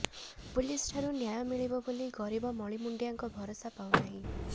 police ଠାରୁ ନ୍ୟାୟ ମିଳିବ ବୋଲି ଗରିବ ମଳିମୁଣ୍ଡିଆଙ୍କ ଭରସା ପାଉ ନାହିଁ